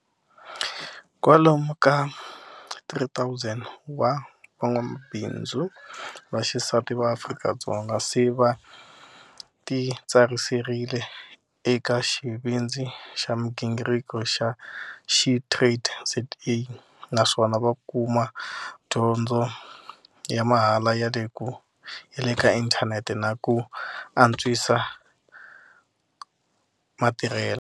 Kwalomu ka 3 000 wa van'wamabindzu va xisati va Afrika-Dzonga se va titsariserile eka Xivindzi xa migingirko xa SheTradesZA naswona va kuma dyondzo ya mahala ya le ka inthanete na ku antswi sa matirhelo.